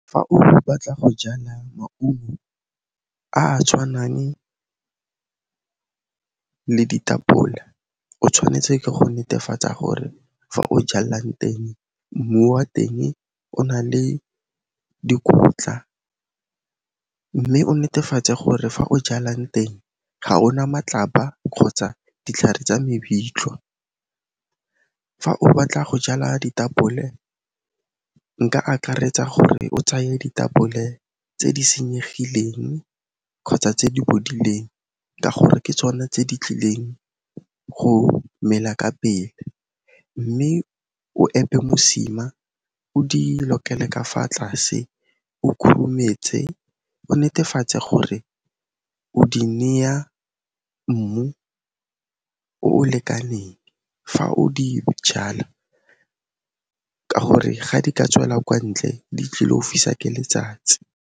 Fa o batla go jala maungo a a tshwanang le ditapole, o tshwanetse ke go netefatsa gore fa o jallang teng, mmu wa teng o na le dikotla mme o netefatse gore fa o jalang teng ga ona matlapa kgotsa ditlhare tsa mebitlwa. Fa o batla go jala ditapole nka akaretsa gore o tsaye ditapole tse di senyegileng kgotsa tse di bodileng ka gore ke tsona tse di tlileng go mela ka pele mme o epe mosima o di lokele ka fa tlase o khurumetse, o netefatse gore o di neya mmu o o lekaneng fa o di jala ka gore ga di ka tswela kwa ntle, di tlil'o fiswa ke letsatsi.